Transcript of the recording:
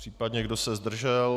Případně kdo se zdržel?